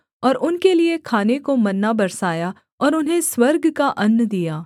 और उनके लिये खाने को मन्ना बरसाया और उन्हें स्वर्ग का अन्न दिया